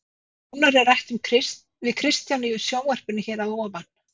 Nánar er rætt við Kristján í sjónvarpinu hér að ofan.